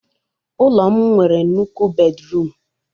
Ụlọ m nwere nnukwu bedruum